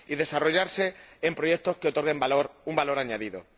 Y desarrollarse en proyectos que otorguen valor, un valor añadido.